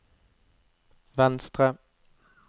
venstre